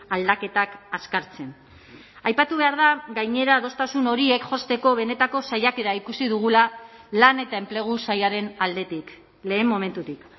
aldaketak azkartzen aipatu behar da gainera adostasun horiek josteko benetako saiakera ikusi dugula lan eta enplegu sailaren aldetik lehen momentutik